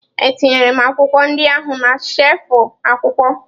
Etinyere m akwụkwọ ndị ahụ na shelfụ akwụkwọ.